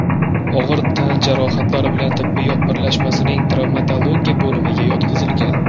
og‘ir tan jarohatlari bilan tibbiyot birlashmasining travmatologiya bo‘limiga yotqizilgan.